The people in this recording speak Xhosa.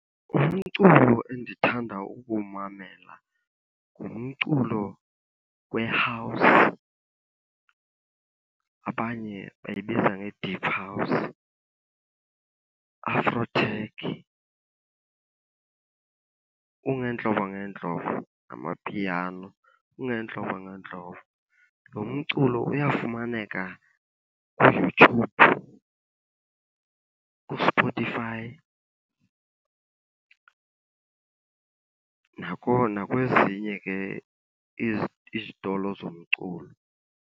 Umculo endithanda ukuwumamela ngumculo we-house abanye bayibiza nge-deep house, afro tech. Ungeentlobo ngeentlobo, ngamapiano, ungeentlobo ngeentlobo. Lo mculo uyafumaneka kuYouTube, kuSpotify nakwezinye ke izitolo zomculo.